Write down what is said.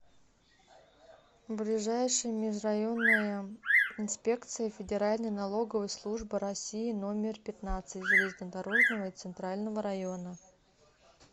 ближайший межрайонная инспекция федеральной налоговой службы россии номер пятнадцать железнодорожного и центрального района